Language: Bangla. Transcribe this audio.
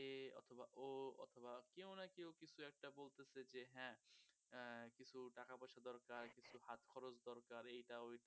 এইটাও দরকার